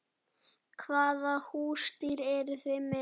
Hvaða húsdýr eru þið með?